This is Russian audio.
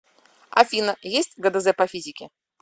афина есть гдз по физике